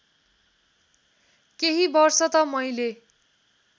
केही वर्ष त मैले